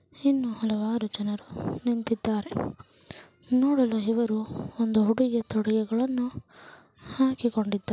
ಹೆಣ್ಣು ಹಲವಾರು ಜನರು ನಿಂತಿದ್ದಾರೆ. ನೋಡಲು ಇವರು ಒಂದು ಹುಡುಗೇ ತೊಡಗಳನ್ನು ಹಾಕಿಕೊಂಡಿದ್ದಾರೆ.